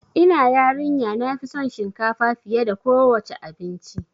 Ina yarin ya nafi son shinkafa fiye da kowa ce abinci